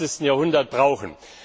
21. Jahrhundert brauchen.